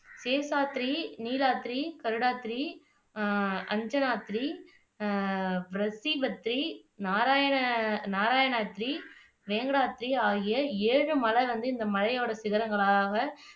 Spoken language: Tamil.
சேஷாத்ரி, நீளாத்ரி, கருடாத்ரி, அஹ் அஞ்சனாத்ரி அஹ் பிரத்திபத்ரி, நாராயண நாராயணாத்ரி, வேங்கடாத்ரி ஆகிய ஏழு மலை வந்து இந்த மலையோட சிகரங்களாக